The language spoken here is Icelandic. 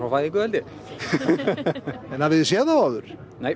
fæðingu held ég hefurðu séð þá áður nei